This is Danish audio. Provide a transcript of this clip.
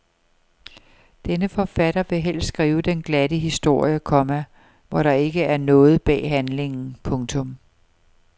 Denne forfatter vil helst skrive den glatte historie, komma hvor der ikke er noget bag handlingen. punktum